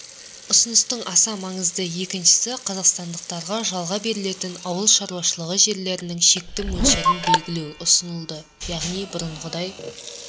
ұсыныстың аса маңызды екіншісі қазақстандықтарға жалға берілетін ауыл шаруашылығы жерлерінің шекті мөлшерлерін белгілеу ұсынылды яғни бұрынғыдай